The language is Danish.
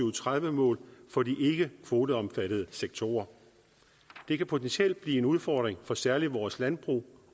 og tredive mål for de ikkekvoteomfattede sektorer det kan potentielt blive en udfordring for særligt vores landbrug